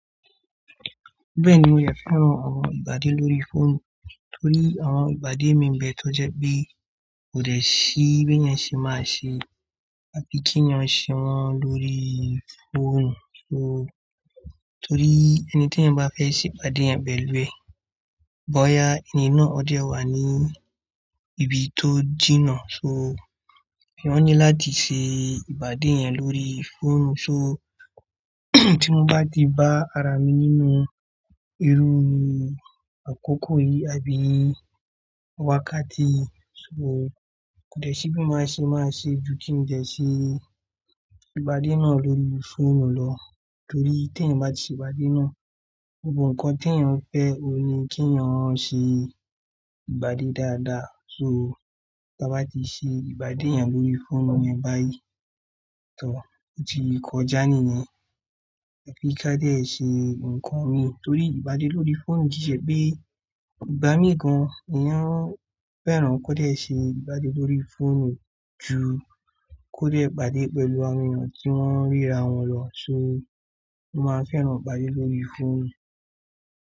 Bẹ́ẹ̀ni, mo fẹ́ran àwọn ìbàdé lórí fóònù torí àwọn ìbàdé mi ń bẹ tó jẹ bí kò dẹ̀ sí bí yẹn ṣe máa ṣe àbí kíyàn ṣe wọ́n lórí fóònù. Torí ẹni tí yẹn bá fẹ́ ṣe ìbàdé yẹn pe lú ẹ. Bọ́ya ẹni náà ọdẹ wà ní ibi tó jìnnà. Ìwọ ní láti ṣe ìpadé yẹn lórí fóònù. Tí mo bá di bá ara mi nínú irú àkókò yìí àbí wákàtí, kò dẹ̀ sí bí mo ṣe máa ṣe ju kí n de ṣe ìpàdé náà lórí fóònù lọ torí tí eeyan bá ti se ìpàdé náà, gbogbo nǹkan tí eeyan fẹ́ o ní kíyàn ṣe ìpadé dáadáa. Tí a bá ti ṣe ìpadé yẹn lórí fóònù yẹn báyìí, tooo, o ̀tí ìkọjá nìyẹn. Ẹbí ká dẹ̀ ṣe ǹkan mi torí ìpadé lórí fóònù jíṣẹ́ pé ìgbà mii gan eeyan fẹ́ràn kó dẹ̀ ṣe ìpadé lórí fóònù ju kó dẹ̀ ìpàdé pẹ̀lú àwọn èèyàn tí wọ́n ríra wọn lọ. Mo máa fẹ́ran ìpadé lórí fóònù.